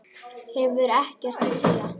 Hefur ekkert að segja.